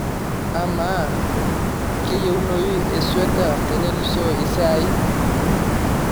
amaa kayieunoyu esweta tenelusoo esiai